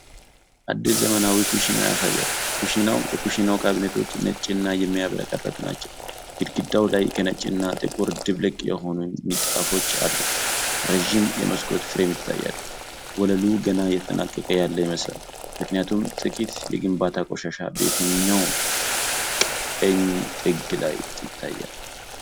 አዲስ ዘመናዊ ኩሽና ያሳያል። የኩሽናው ካቢኔቶች ነጭና የሚያብረቀርቁ ናቸው። ግድግዳው ላይ ከነጭና ጥቁር ድብልቅ የሆኑ ንጣፎች አሉ። ረጅም የመስኮት ፍሬም ይታያል። ወለሉ ገና እየተጠናቀቀ ያለ ይመስላል፤ ምክንያቱም ጥቂት የግንባታ ቆሻሻ በታችኛው ቀኝ ጥግ ላይ ይታያል።